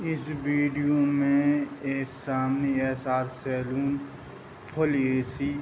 इस विडियो में सामने ऐसा सैलून फूल ए.सी. --